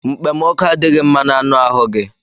Mkpemọkụ adịghị mma na anụ ahu gị.